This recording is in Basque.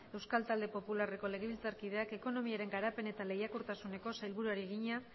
euskal talde popularreko legebiltzarkideak ekonomiaren garapen eta lehiakortasuneko sailburuari egina